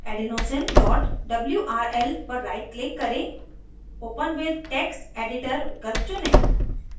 adenosine wrl पर right click करें open with text editor विकल्प चुनें